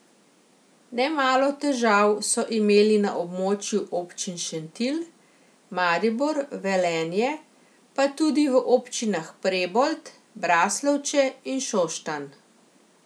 Nemalo težav so imeli na območju občin Šentilj, Maribor, Velenje, pa tudi v občinah Prebold, Braslovče in Šoštanj.